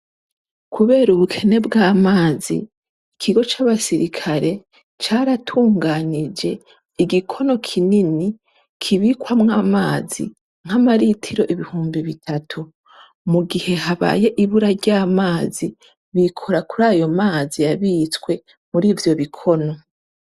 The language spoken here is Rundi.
Kubera ubukene bw'amazi, ikigo c'abasirikare caratunganyije igikono kinini kibikwamwo amazi nka malitiro ibihumbi bitatu. Mu gihe habaye ibura ry'amazi, bikora kuri ayo amazi yabitswe muri ivyo bikono.